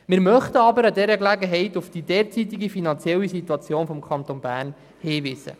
Wir möchten aber bei dieser Gelegenheit auf die derzeitige finanzielle Situation des Kantons Bern hinweisen.